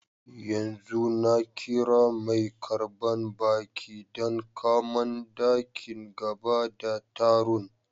Yanzu na kira mai karban baki dan kaman daki gaba da tarun.